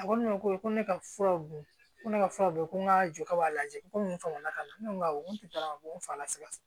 A ko ne ma ko ne ka furaw dun ko ne ka furaw bɔ ko n ka jɔ ka b'a lajɛ ko nin faamu na ka na ne ko awɔ n ko ko n fa la siga